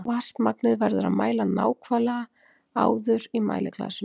Vatnsmagnið verður að mæla nákvæmlega áður í mæliglasinu.